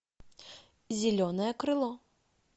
зеленое крыло